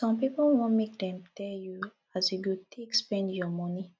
some pipo wan make dem tell you as you go take spend your moni